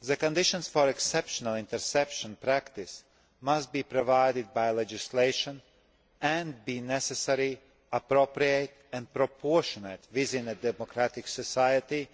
The conditions for exceptional interception practice must be provided by legislation and be necessary, appropriate and proportionate within a democratic society